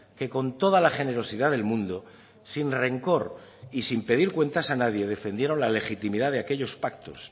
que con toda la generosidad del mundo sin rencor y sin pedir cuentas a nadie defendieron la legitimidad de aquellos pactos